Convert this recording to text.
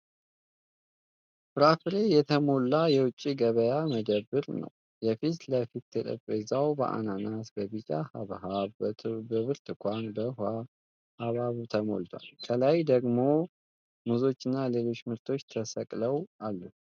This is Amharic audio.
ፍራፍሬ የተሞላ የውጭ ገበያ መደብር ነው። የፊት ለፊት ጠረጴዛው በአናናስ ፣ በቢጫ ሐብሐብ ፣ በብርቱካን እና በውሃ ሐብሐብ ተሞልቷል ። ከላይ ደግሞ ሙዞች እና ሌሎች ምርቶች ተሰቅለው አሉ።